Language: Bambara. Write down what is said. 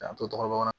K'an to dɔgɔ kɔnɔ